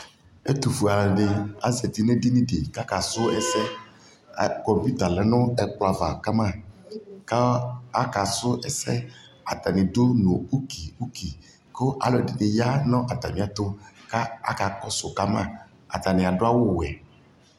ɛtufue alu ni azati nu edini ɖi k'aka su ɛsɛ akpo di ta lɛ nu ɛkplɔ ava kama ku aka su ɛsɛ atani du nu ukiuki ku ɔlɔdini ya nu ata miɛ tu k'aka kɔsu Kama atania d'awu wɛ